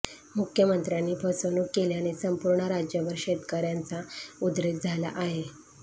मुख्यमंत्र्यांनी फसवणूक केल्याने संपूर्ण राज्यभर शेतकऱयांचा उद्रेक झाला आहे